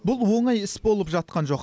бұл оңай іс болып жатқан жоқ